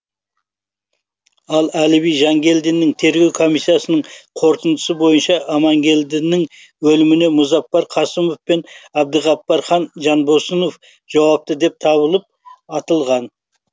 ал әліби жангелдиннің тергеу комиссиясының қорытындысы бойынша аманкелдінің өліміне мұзафар қасымов пен әбдіғапар хан жанбосынов жауапты деп табылып атылған